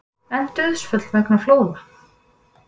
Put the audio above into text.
Enn dauðsföll vegna flóða